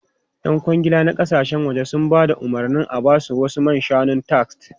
Yan kwangila na kasashen waje sun ba da umarnin a ba su wasu man shanun tart.